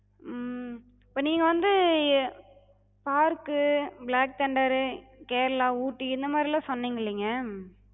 உம் இப்ப நீங்க வந்து park கு, black thunder ரு, கேரளா, ஊட்டி இந்த மாரிலா சொன்னிங்கல்லங்க,